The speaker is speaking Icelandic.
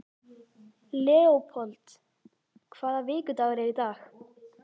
Leópold, hvaða vikudagur er í dag?